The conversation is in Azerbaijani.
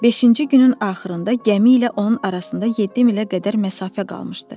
Beşinci günün axırında gəmi ilə onun arasında 7 milə qədər məsafə qalmışdı.